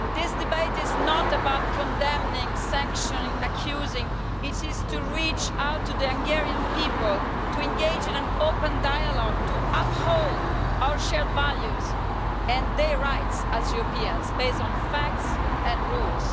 This debate is not about condemning, sanctioning and accusing. It is to reach out to the Hungarian people, to engage in an open dialogue and to uphold our shared values and their rights as Europeans, based on facts and rules.